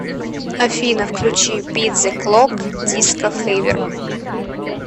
афина включи бит зе клок диско февер